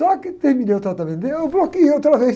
Só que terminei o tratamento dele e eu bloqueei outra vez.